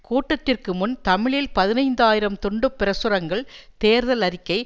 கூட்டத்திற்கு முன் தமிழில் பதினைந்து ஆயிரம் துண்டு பிரசுரங்கள் தேர்தல் அறிக்கை